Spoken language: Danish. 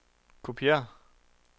kopiér